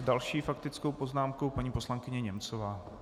S další faktickou poznámkou paní poslankyně Němcová.